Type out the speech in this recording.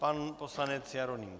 Pan poslanec Jeroným